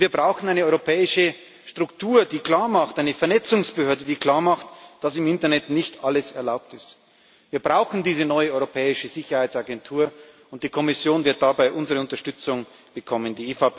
Und wir brauchen eine europäische Struktur eine Vernetzungsbehörde die klar macht, dass im Internet nicht alles erlaubt ist. Wir brauchen diese neue europäische Sicherheitsagentur, und die Kommission wird dabei unsere Unterstützung bekommen.